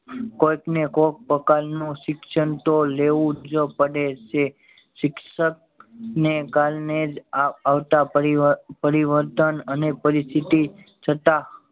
કોઈક ને કોઈક પ્રકાર નું શિક્ષણ તો લેવું જ પડે છે શિક્ષક ને કારને જ આ આવતા પરિવર્તન અને પરિસ્થિતિ છતાં